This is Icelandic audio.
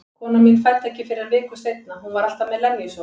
Konan mín fæddi ekki fyrr en viku seinna, hún var alltaf með lenjusótt.